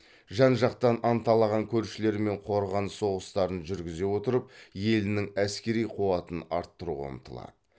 жан жақтан анталаған көршілерімен қорғаныс соғыстарын жүргізе отырып елінің әскери қуатын арттыруға ұмтылады